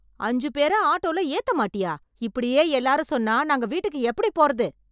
அஞ்சு பேர ஆட்டோல ஏத்த மாட்டியா, இப்படியே எல்லாரும் சொன்னா நாங்க வீட்டுக்கு எப்படிப் போறது?